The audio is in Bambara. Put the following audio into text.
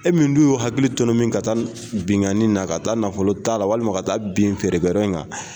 E min dun y'u hakili tɔnɔmin ka taa binkani na ka taa nafolo ta la ,walima ka taa bin feerekɛla in kan.